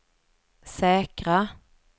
säkra